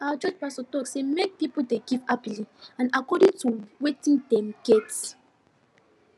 our church pastor talk say make pipo dey give happily and according to wetin dem get